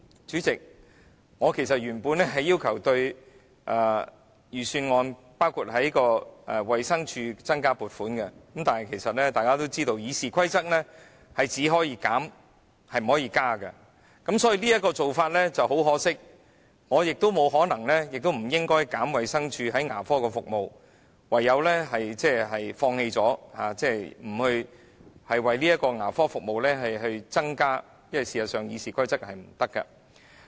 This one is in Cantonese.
主席，我其實原本是要求預算案增加撥款，包括向衞生署增加撥款，但大家也知道，根據《議事規則》，我們只可以削減，卻不可以增加，因此很可惜，而我亦沒有可能或不應削減衞生署提供的牙科服務，唯有放棄建議向牙科服務增加撥款，因為《議事規則》是不容許的。